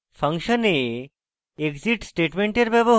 function a exit স্টেটমেন্টের ব্যবহার